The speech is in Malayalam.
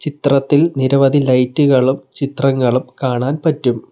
ചിത്രത്തിൽ നിരവധി ലൈറ്റ് കളും ചിത്രങ്ങളും കാണാൻ പറ്റും.